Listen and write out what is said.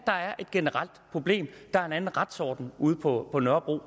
der er et generelt problem at der er en anden retsorden ude på på nørrebro